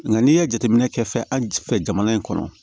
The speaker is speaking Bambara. Nga n'i ye jateminɛ kɛ fɛn an fɛ jamana in kɔnɔ